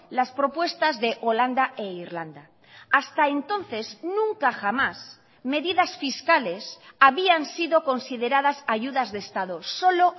las propuestas de holanda e irlanda hasta entonces nunca jamás medidas fiscales habían sido consideradas ayudas de estado solo